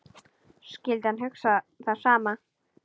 Skyldi hann hugsa það sama?